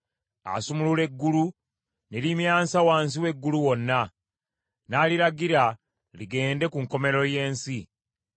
Asumulula eggulu ne limyansa wansi w’eggulu wonna, n’aliragira ligende ku nkomerero y’ensi.